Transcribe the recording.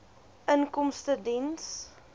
inkomstediens